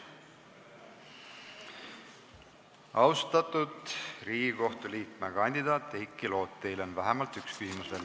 Austatud Riigikohtu liikme kandidaat Heiki Loot, teile on vähemalt üks küsimus veel.